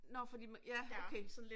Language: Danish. Nåh fordi ja okay